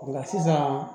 Nka sisan